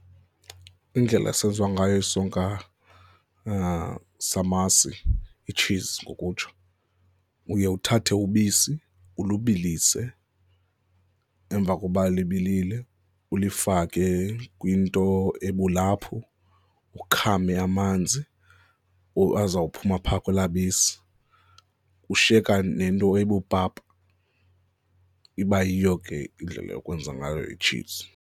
Indlela esenziwa ngayo isonka samasi, itshizi ngokutsho, uye uthathe ubisi, ulubilise. Emva koba libilile, ulifake kwinto ebulaphu, ukhame amanzi azawuphuma phaa kwelaa bisi, ushiyeka nento ebupapa. Iba yiyo ke indlela yokwenza ngayo itshizi.